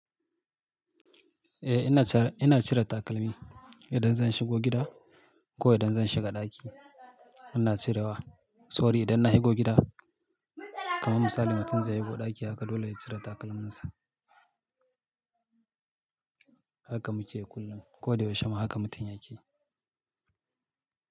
Eh ina cire, ina cire takalmi idan zan shigo gida ko idan zan shiga ɗaki. Ina cirewa. Sori idan na shigo gida, kamar misali mutum zai shigo ɗaki haka dole yai cire takalminsa. Haka muke kullum. Ko da yaushe ma haka mutum yake.